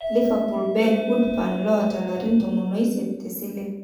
Liverpool Ben Woodburn lota larin tomon oisiet tesile.